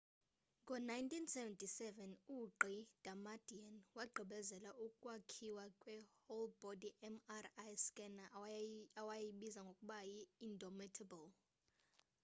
ngo-1977 ugq. damadian wagqibebezela ukwakhiwa kwe whole-body” mri scanner awayibiza ngokuba yi indomitable